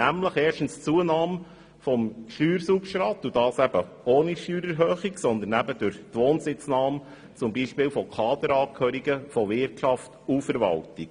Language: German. Erstens geht es um eine Zunahme des Steuersubstrats und zwar ohne Steuererhöhungen, sondern durch die Wohnsitznahme zum Beispiel von Kaderangehörigen der Wirtschaft und der Verwaltung.